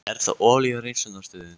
Er það olíuhreinsunarstöðin?